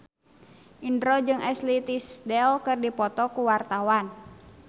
Indro jeung Ashley Tisdale keur dipoto ku wartawan